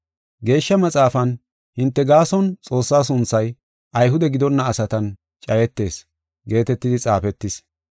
Geeshsha Maxaafan, “Hinte gaason Xoossaa sunthay Ayhude gidonna asatan cayetees” geetetidi xaafetis.